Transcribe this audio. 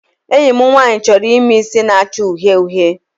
Enyi m nwaanyị chọrọ ime isi na-acha uhie uhie.